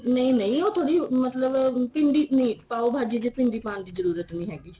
ਨਹੀਂ ਨਹੀਂ ਉਹ ਥੋੜੀ ਮਤਲਬ ਭਿੰਡੀ ਨਹੀਂ ਪਾਉ ਭਾਜੀ ਚ ਭਿੰਡੀ ਪਾਣ ਦੀ ਜਰੂਰਤ ਨਹੀਂ ਹੈਗੀ